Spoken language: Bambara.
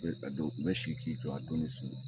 U bɛ si k'i jɔ a donnin su